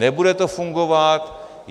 Nebude to fungovat.